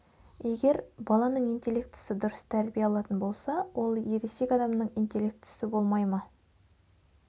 егер баланың интеллектісі дұрыс тәрбие алатын болса ол ересек адамның интеллектісі болмай ма